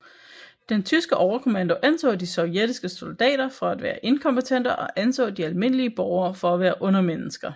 Den tyske overkommando anså de sovjetiske soldater for at være inkompetente og anså de almindelige borgere for at være undermennesker